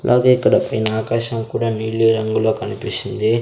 అలాగే ఇక్కడ పెయ్న ఆకాశం కూడా నీలి రంగులో కనిపిస్తుంది.